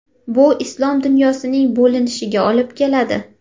Bu islom dunyosining bo‘linishiga olib keladi.